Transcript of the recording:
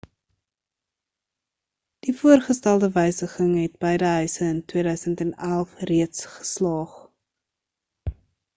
die voorgestelde wysiging het beide huise in 2011 reeds geslaag